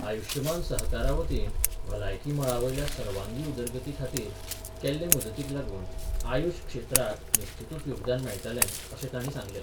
आयुष्यमान सहकारा वतीन भलायकी मळा वयल्या सर्वांगी उदरगती खातीर केल्ले मजतीक लागून मआयुषफ क्षेत्राक निश्चीतूच योगदान मेळटलें अशें तांणी सांगलें.